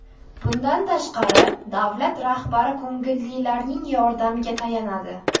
Bundan tashqari, davlat rahbari ko‘ngillilarning yordamiga tayanadi.